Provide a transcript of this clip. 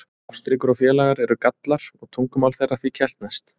Ástríkur og félaga eru Gallar og tungumál þeirra því keltneskt.